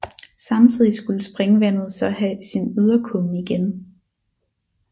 Samtidig skulle springvandet så have sin yderkumme igen